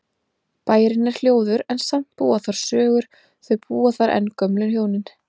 Bærinn er hljóður en samt búa þar sögur, þau búa þar enn gömlu hjónin.